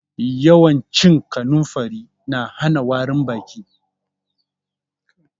Yawan cin kanumfari na hana warin baki.